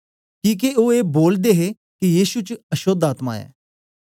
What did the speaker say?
किके ओ ए बोलदे हे के यीशु च अशोद्ध आत्मा ऐ